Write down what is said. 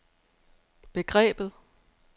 begrebet